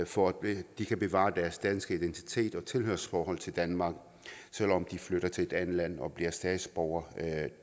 for at de kan bevare deres danske identitet og tilhørsforhold til danmark selv om de flytter til et andet land og bliver statsborgere